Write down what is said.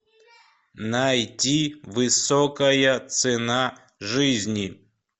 найти высокая цена жизни